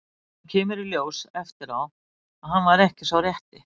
Síðan kemur í ljós eftir á að hann var ekki sá rétti.